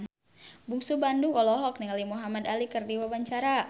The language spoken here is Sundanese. Bungsu Bandung olohok ningali Muhamad Ali keur diwawancara